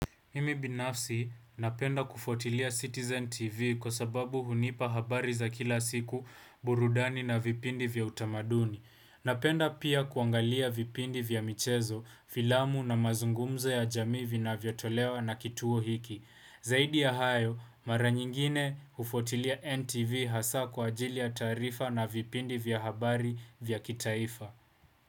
Mimi binafsi napenda kufuatilia Citizen TV kwa sababu hunipa habari za kila siku burudani na vipindi vya utamaduni. Napenda pia kuangalia vipindi vya michezo, filamu na mazungumzo ya jamii vinavyo tolewa na kituo hiki. Zaidi ya hayo, mara nyingine hufuatilia NTV hasa kwa ajili ya taarifa na vipindi vya habari vya kitaifa.